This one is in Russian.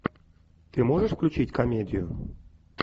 ты можешь включить комедию